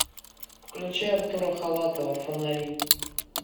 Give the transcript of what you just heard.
включи артура халатова фонари